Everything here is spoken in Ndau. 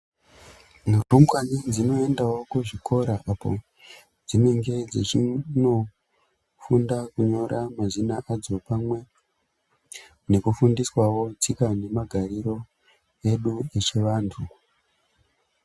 Nhumbwani dzinoendawo kuzvikora apo dzinenge dzichinofunda kunyora mazina adzo pamwe nekufundiswawo tsika nemagariro edu echivantu.